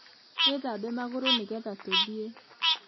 Wĩthambe magũrũnĩgetha tũthiĩ